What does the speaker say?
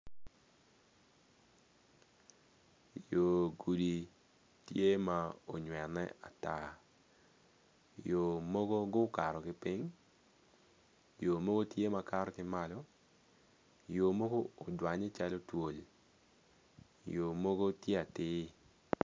Yo gudi tye ma onywene ata yo mogo gukato ki piny yomogo tye ma gikato ki malo yomogo odwanye calo twol yo mogo tye atir.